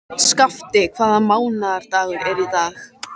Skafti, hvaða mánaðardagur er í dag?